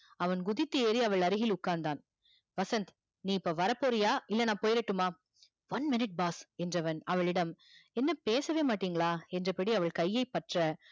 அவன் குதித்து ஏறி அவள் அருகில் உக்காந்தான் வசந்த் நீ இப்போ வரப்போறியா இல்ல நா போய்டட்டுமா one minute boss என்றவன் அவளிடம் என்ன பேசவே மாட்டிங்களா என்றப் படி அவள் கையை பற்ற